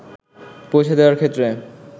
পৌঁছে দেয়ার ক্ষেত্রে